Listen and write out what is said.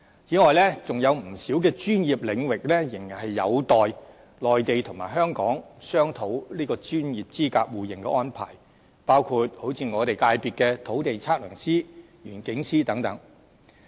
此外，仍有不少專業領域仍然有待內地和香港商討專業資格互認的安排，包括我界別的土地測量師、園境師等。